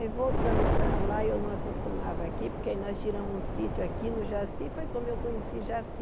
Aí voltamos para lá, e eu não acostumava aqui, porque aí nós tiramos um sítio aqui no Jaci, foi como eu conheci Jaci.